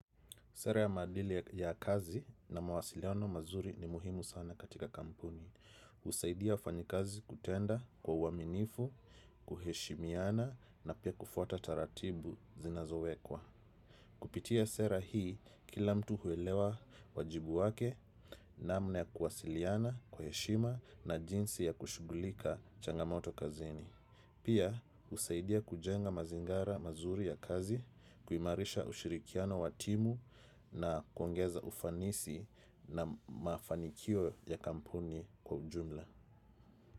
Sera ya maadili ya kazi na mawasiliano mazuri ni muhimu sana katika kampuni. Usaidia wafanyikazi kutenda kwa uaminifu, kuheshimiana na pia kufuata taratibu zinazowekwa. Kupitia sera hii, kila mtu huelewa wajibu wake namna ya kuwasiliana kwa heshima na jinsi ya kushughulika changamoto kazini. Pia usaidia kujenga mazingara mazuri ya kazi, kuimarisha ushirikiano wa timu na kuongeza ufanisi na mafanikio ya kampuni kwa ujumla.